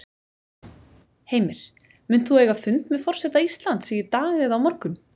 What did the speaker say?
Heimir: Munt þú eiga fund með forseta Íslands í dag eða á morgun?